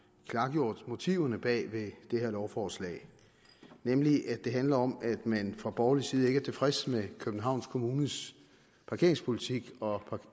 klargjort motiverne bag ved det her lovforslag nemlig at det handler om at man fra borgerlig side ikke er tilfreds med københavns kommunes parkeringspolitik og